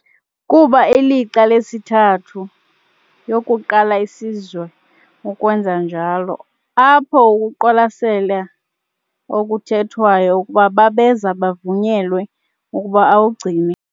kuba ilixa lesithathu yokuqala isizwe ukwenza njalo, apho ukuqwalasela okuthethwayo ukuba babeza bavunyelwe ukuba awugcine.